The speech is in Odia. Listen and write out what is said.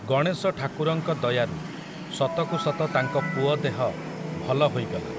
ଗଣେଶଠାକୁରଙ୍କ ଦୟାରୁ, ସତକୁ ସତ ତାଙ୍କ ପୁଅ ଦେହ, ଭଲ ହୋଇଗଲା ।